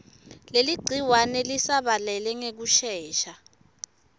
leligciwane lisabalale ngekushesha